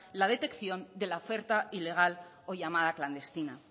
la oferta ilegal o la llamada clandestina